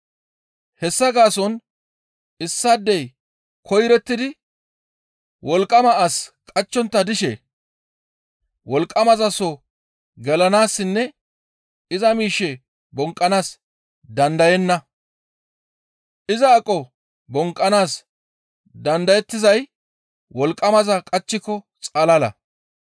«Hessa gaason issaadey koyrottidi wolqqama as qachchontta dishe wolqqamaza soo gelanaassinne iza miishshe bonqqanaas dandayenna; iza aqo bonqqanaas dandayettizay wolqqamaza qachchiko xalala.